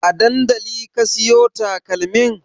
A dandali ka siyo takalmin?